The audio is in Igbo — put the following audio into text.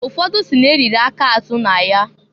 Ụfọdụ si n'e riri aka azụ na ya.